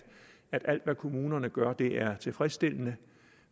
alt hvad kommunerne gør er tilfredsstillende